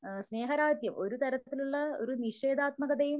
ആഹ് സ്നേഹരാഹിത്യം ഒരു തരത്തിലുള്ള ഒരു ഒരു നിഷേധാത്മകതയും